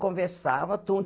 Conversava